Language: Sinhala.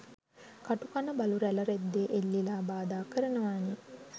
කටු කන බලු රැල රෙද්දෙ එල්ලිලා බාධා කරනවනෙ